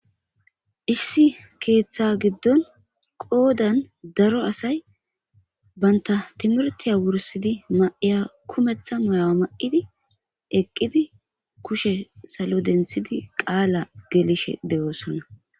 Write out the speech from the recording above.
issi keeththa giddon qoodan daro asay baynta timirtiya wursidi ma7iya kumeththa moyoa ma7idi eqqidi kushe salo denthidi qaala geelishe de7oosonna